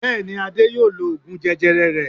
Bẹ́ẹ̀ni, Ade yóò lo oògùn jẹjẹrẹ rẹ̀.